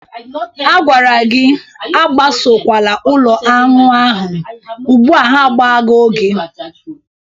A gwara gị akpasokwala ụlọ añwụ ahụ, ugbụa ha agbago gị!